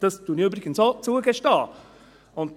Das gestehe ich übrigens auch zu.